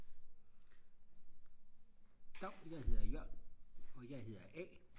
dav jeg hedder Jørn og jeg hedder a